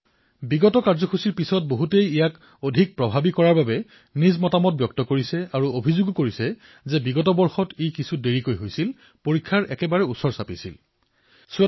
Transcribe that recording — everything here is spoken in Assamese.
যোৱাবাৰৰ কাৰ্যসূচীৰ পিছত বহুতে ইয়াক অধিক প্ৰভাৱী কৰি তোলাৰ বাবে বহুতো প্ৰস্তাৱ উত্থাপন কৰিছিল আৰু অভিযোগো কৰিছিল যে যোৱাবাৰ পলমকৈ হৈছিল পৰীক্ষাৰ একেবাৰে কাষৰ সময়ত হৈছিল